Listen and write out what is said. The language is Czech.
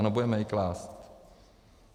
Ano, budeme je klást.